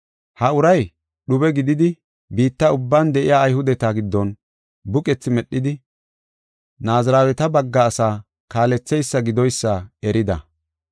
Ha uray dhube gididi biitta ubban de7iya Ayhudeta giddon buqethi medhidi Naaziraweta bagga asaa kaaletheysa gidoysa erida.